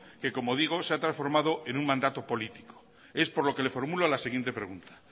que como digo se ha transformado en un mandato político es por lo que le formulo la siguiente pregunta